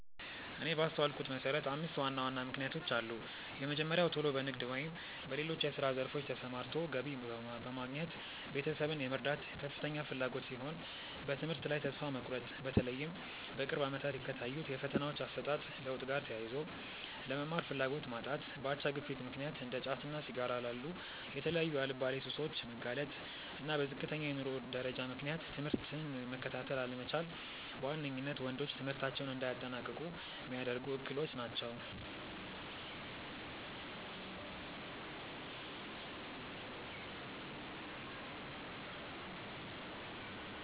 እኔ ባስተዋልኩት መሰረት አምስት ዋና ዋና ምክንያቶች አሉ። የመጀመሪያው ቶሎ በንግድ ወይም በሌሎች የስራ ዘርፎች ተሰማርቶ ገቢ በማግኘት ቤተሰብን የመርዳት ከፍተኛ ፍላጎት ሲሆን፤ በትምህርት ላይ ተስፋ መቁረጥ(በተለይም በቅርብ አመታት ከታዩት የፈተናዎች አሰጣጥ ለውጥ ጋር ተያይዞ)፣ ለመማር ፍላጎት ማጣት፣ በአቻ ግፊት ምክንያት እንደ ጫትና ሲጋራ ላሉ የተለያዩ አልባሌ ሱሶች መጋለጥ፣ እና በዝቅተኛ የኑሮ ደረጃ ምክንያት ትምህርትን መከታተል አለመቻል በዋነኝነት ወንዶች ትምህርታቸውን እንዳያጠናቅቁ ሚያደርጉ እክሎች ናቸው።